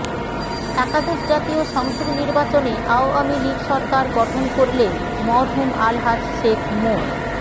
একাদশ জাতীয় সংসদ নির্বাচনে আওয়ামী লীগ সরকার গঠন করলে মরহুম আলহাজ শেখ মো